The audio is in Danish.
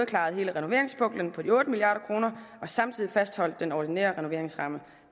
klaret hele renoveringspuklen på de otte milliard kroner og samtidig fastholdt den ordinære renoveringsramme